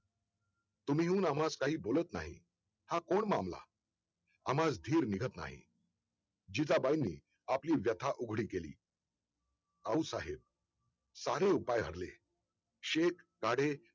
तुम्ही हुन आम्हा काही बोलत नाही हा कोण मामला? आम्हाला धीर निघत नाही. जिजाबाईंनी आपली व्यथा उघडी केली आऊसाहेब सारे उपाय हरले शेत सारे